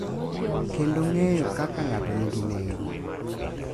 Kendo ng’eyo kaka ng’ato nigi nengo .